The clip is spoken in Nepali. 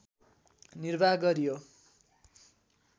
निर्वाह गरियो